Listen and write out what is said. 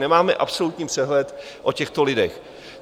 Nemáme absolutní přehled o těchto lidech.